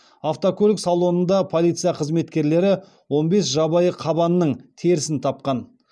автокөлік салонында полиция қызметкерлері он бес жабайы қабанның терісін тапқан